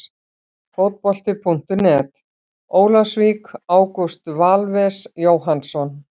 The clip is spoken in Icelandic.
Fótbolti.net, Ólafsvík- Ágúst Valves Jóhannsson.